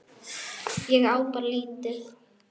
Ég á bara lítið.